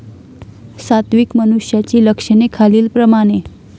सात्विक मनुष्याची लक्षणे खालील प्रमाणे.